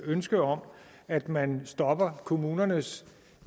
ønsket om at man stopper kommunernes